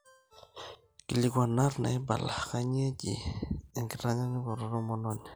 Nkilinkuanat naaibala, kainyioo eji enkitanyaanyukoto tomononi